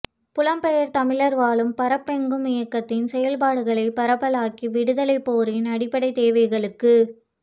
புலம் பெயர் தமிழர் வாழும் பரப்பெங்கும் இயக்கத்தின் செயல்பாடுகளை பரப்பலாக்கி விடுதலைப் போரின் அடிப்படைத் தேவைகளுக்கு